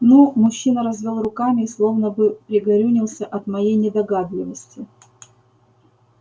ну мужчина развёл руками и словно бы пригорюнился от моей недогадливости